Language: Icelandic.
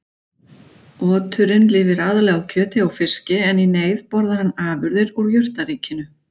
Oturinn lifir aðallega á kjöti og fiski en í neyð borðar hann afurðir úr jurtaríkinu.